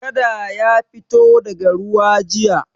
Kada ya fito daga ruwa jiya.